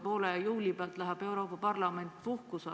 Poole juuli pealt läheb Euroopa Parlament ju puhkusele.